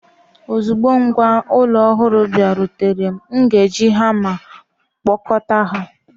Ozugbo ngwá ụlọ ọhụrụ bịarutere, m ga-eji hama kpọkọta ha.